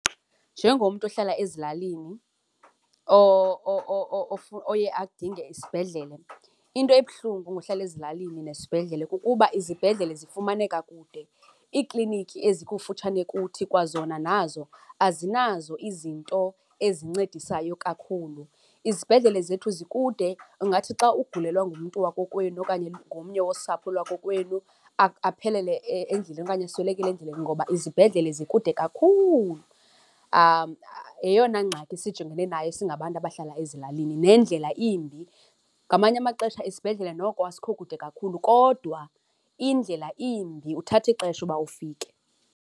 Njengomntu ohlala ezilalini oye adinge isibhedlele, into ebuhlungu ngohlala ezilalini nesibhedlele kukuba izibhedlele zifumaneka kude, iikliniki ezikufutshane kuthi kwazona nazo azinazo izinto ezincedisayo kakhulu. Izibhedlele zethu zikude, ungathi xa ugulelwa ngumntu wakokwenu okanye ngomnye wosapho lakokwenu aphelele endleleni okanye aswelekele endleleni ngoba izibhedlele zikude kakhulu. Yeyona ngxaki sijongene nayo singabantu abahlala ezilalini, nendlela imbi. Ngamanye amaxesha isibhedlele noko asikho kude kakhulu kodwa indlela imbi uthatha ixesha uba ufike.